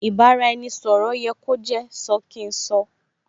Ì bá-ra-ẹni - sọ̀rọ̀ yẹ kó jẹ́ sọ kín sọ